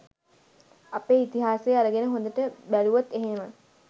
අපේ ඉතිහාසේ අරගෙන හොඳට බැලූවොත් එහෙම